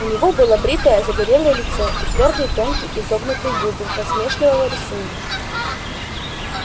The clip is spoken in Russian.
у него было бритое загорелое лицо и твёрдые тонкие изогнутые губы насмешливого рисунка